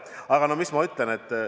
Aga mis ma ütlen?